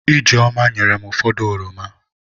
Ijeoma nyerem ụfọdụ oroma.